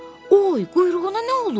Oy, quyruğuna nə olub?